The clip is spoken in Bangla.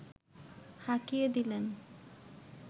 হাঁকিয়ে দিলেন